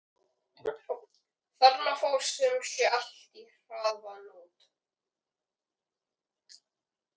Þarna fór sum sé allt í harða hnút.